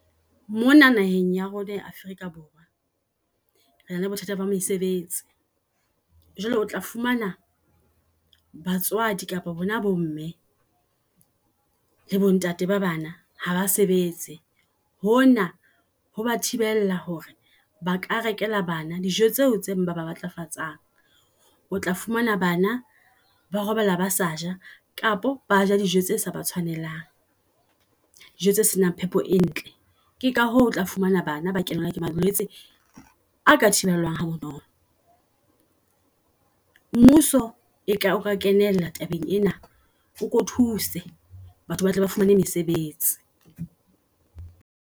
Mona naheng ya rona ya Africa Borwa rena le bothata ba mesebetsi. Jwale otla fumana batswadi kapa bona bo mme lebo ntate ba bana haba sebetse. Hona ho ba thibela hore ba ka rekela bana dijo tseo tse ba matlafatsang. Otla fumana bana ba robala ba sa ja, kapa ba ja dijo tse sa ba tshwanelang. Dijo tse senang phepo e ntle, ke ka hoo o tla fumana bana ba kenelwa ke malwetse a ka thibelwang ha bonolo. Mmuso e ka o ka kenella tabeng ena, o ko thuse batho ba tle ba fumane mesebetsi.